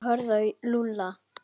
Þeir horfðu á Lúlla.